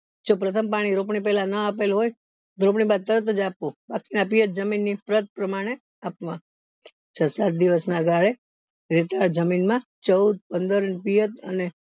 જો પ્રથમ પાણી રોપણી પેલા ન આપેલું હોય તો રોપણી બાદ તરતજ આપવું જરૂરિયાત પ્રમાણે અપવા છ સાત દિવસ ના ગઈ રેતાળ જમીન માં ચૌદ પંદર અને